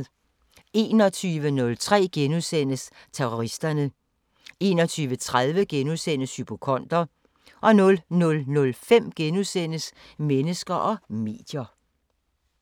21:03: Terroristerne * 21:30: Hypokonder * 00:05: Mennesker og medier *